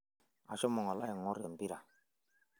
ashomo ngole aing'orr empira